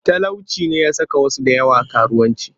Talauci ne ya saka wasu da yawa karuwanci